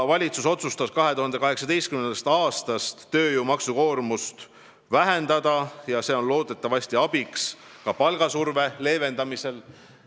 Valitsus otsustas 2018. aastast tööjõu maksukoormust vähendada, mis on loodetavasti abiks ka palgasurve leevendamisel.